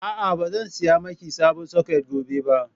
A'a, ba zan saya miki sabon soket gobe ba.